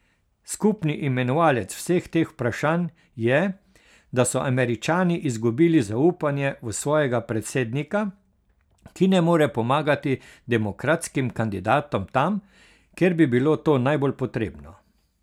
Skupni imenovalec vseh teh vprašanj je, da so Američani izgubili zaupanje v svojega predsednika, ki ne more pomagati demokratskim kandidatom tam, kjer bi bilo to najbolj potrebno.